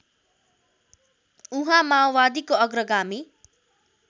उहाँ माओवादीको अग्रगामी